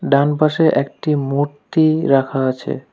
ডানপাশে একটি মূর্তি রাখা আছে।